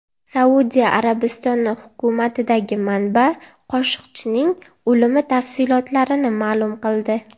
Saudiya Arabistoni hukumatidagi manba Qoshiqchining o‘limi tafsilotlarini ma’lum qildi.